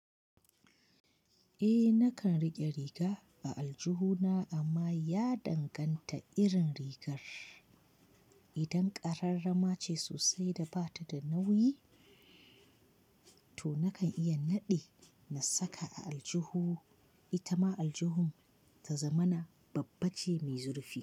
Eh nakan rike riga a aljihu na amma ya danganta irin rigar. Idan ƙararrama ce sosai da bata da nauyi, to nakan iya naɗe na saka a aljihu, ita ma aljihun ta zamana babbace mai zurfi.